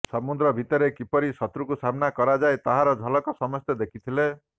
ସମୁଦ୍ର ଭିତରେ କିପରି ଶତ୍ରୁକୁ ସାମ୍ନା କରାଯାଏ ତାହାର ଝଲକ ସମସ୍ତେ ଦେଖିଥିଲେ